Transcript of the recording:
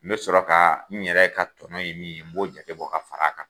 N be sɔrɔ ka n yɛrɛ ka tɔnɔ ye min ye n be sɔrɔ k'o jate bɔ ka fara a kan